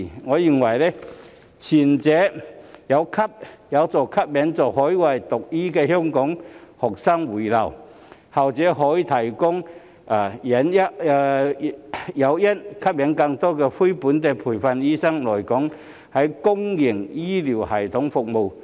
我認為，前者有助吸引在海外讀醫的香港學生回流，後者則可以提供誘因，吸引更多非本地培訓醫生來港在公營醫療系統服務。